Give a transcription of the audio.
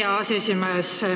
Aitäh, hea aseesimees!